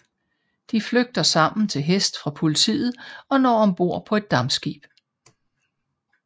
De flygter sammen til hest fra politiet og når om bord på et dampskib